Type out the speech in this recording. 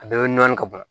A bɛɛ bɛ nɔɔni ka ban